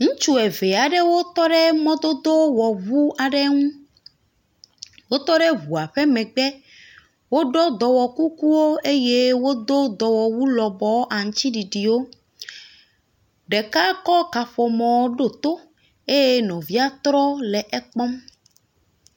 Ŋutsu eve aɖewo tɔ mɔdodowɔŋu aɖe ŋu, wotɔ ɖe ŋua ƒe megbe, woɖɔ dɔwɔkukuwo eye wodo dɔwɔawu lɔbɔɔ aŋutiɖiɖiwo, ɖeka kɔƒomɔ ɖo to eye nɔvia trɔ le ekpɔm.